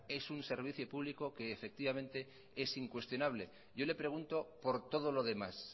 es un servicio público que es incuestionable yo le pregunto por todo lo demás